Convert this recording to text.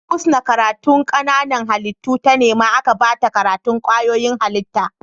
Husna karatun Kananan halittu ta nema aka bata karatun kwayoyin halitta